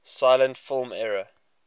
silent film era